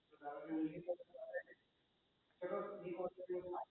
હમ